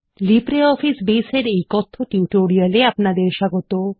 LibreOffice Base এর এই কথ্য টিউটোরিয়াল এ আপনাদের স্বাগত